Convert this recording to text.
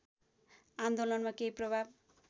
आन्दोलनमा केही प्रभाव